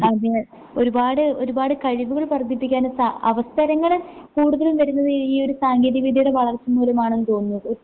അതേ ഒരുപാട് ഒരുപാട് കഴിവുകള് വർദ്ധിപ്പിക്കാന് സാ അവസരങ്ങള് കൂടുതലും വരുന്നത് ഈ ഈയൊരു സാങ്കേതികവിദ്യയുടെ വളർച്ച മൂലമാണെന്ന് തോന്നുന്നു ഒ